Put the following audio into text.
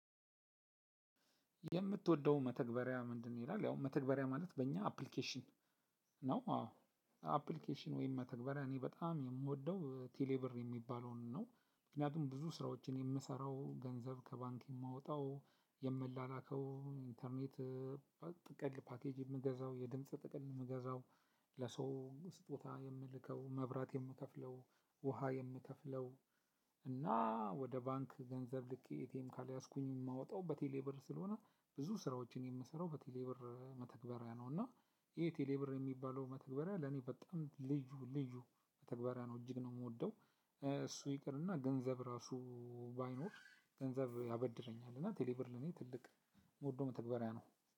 የምትወደው መተግበሪያ ምንድን? ነው ይላል ያው መተግበሪያ ማለት በእኛ አፕሊኬሽን ነው። አዎ አፕሊኬሽን ወይም መተግበሪያ እኔ በጣም የምወደው ቴሌ ብር የሚባለውን ነው። ምክንያቱም ብዙ ስራዎችን የምሰራው ገንዘብ ከባንክ የማወጣው የምላላከው ኢንተርኔት። ጥቅል ፓኬጅ የምገዛው የድምጽ ጥቅል የምገዛው ለሰው ስጦታ የምልከው መብራት የምከፍለው ውሃ የምከፍለው። እና ወደ ባንክ ገንዘብ ልኬ ኤቲኤም ካልያዝኩኝ የማወጣው በቴሌብር ስለሆነ ብዙ ስራዎችን የምሰራው በቴሌብር መተግበሪያ ነው። እና ይሄ ቴሌብር የሚባለው መተግበሪያ ለእኔ በጣም ልዩ ልዩ መተግበሪያ ነው እጅግ ነው የምወደው። እሱ ይቅርና ገንዘብ ራሱ ባይኖር ገንዘብ ያበድረኛል። እና ቴሌብር ለኔ ትልቅ የምወደው መተግበሪያ ነው።